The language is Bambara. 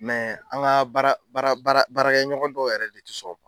Mɛ an ka baara baara baara baarakɛɲɔgɔn dɔw yɛrɛ de tɛ sɔn o ma,